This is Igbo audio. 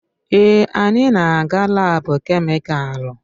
Èè, anyị na-aga laabu kemịkalụ.